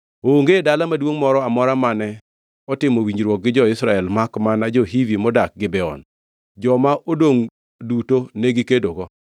Onge dala maduongʼ moro amora mane otimo winjruok gi jo-Israel makmana jo-Hivi modak Gibeon. Joma odongʼ duto negikedogo.